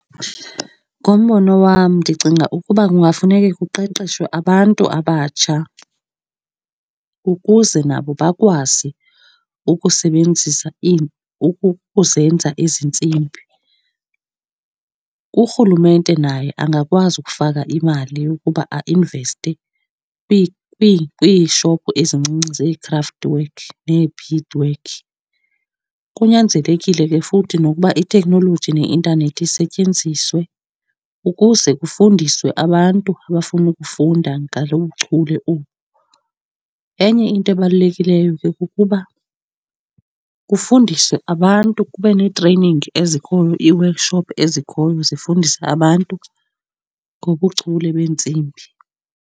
Ngombono wam, ndicinga ukuba kungafuneke kuqeqeshwe abantu abatsha ukuze nabo bakwazi ukusebenzisa , ukuzenza ezi ntsimbi. Urhulumente naye angakwazi ukufaka imali yokuba ainveste kwiishophu ezincinci zee-craft work nee-beadwork. Kunyanzelekile ke futhi nokuba itheknoloji neintanethi isetyenziswe ukuze kufundiswe abantu abafuna ukufunda ngalo buchule obu. Enye into ebalulekileyo ke kukuba kufundiswe abantu, kube nee-training ezikhoyo, ii-workshop ezikhoyo zifundisa abantu ngobuchule beentsimbi.